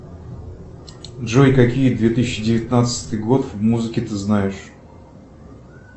джой какие две тысячи девятнадцатый год в музыке ты знаешь